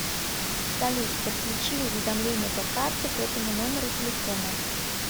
салют подключи уведомления по карте к этому номеру телефона